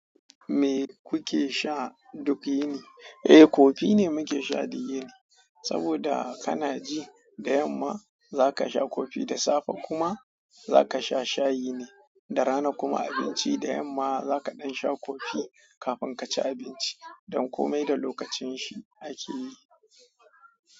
Me kuke sha duk yini? Eh, kofi ne muke sha duk yini. Saboda kana ji da yamma za ka sha kofi da safe kuma za ka sha shayi ne da rana kuma abinci da yamma za ka ɗan sha kofi kafin ka ci abinci don komai da lokacin shi akeyi.